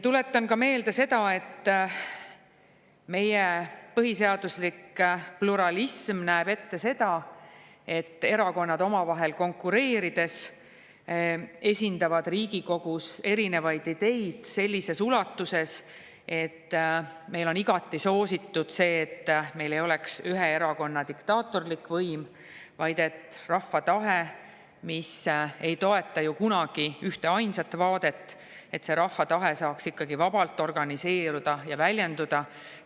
Tuletan ka meelde seda, et meie põhiseaduslik pluralism näeb ette, et erakonnad omavahel konkureerides esindavad Riigikogus erinevaid ideid sellises ulatuses, et meil on igati soositud see, et meil ei oleks ühe erakonna diktaatorlik võim, vaid et rahva tahe, mis ei toeta ju kunagi ühteainsat vaadet, saaks vabalt organiseeruda ja väljenduda.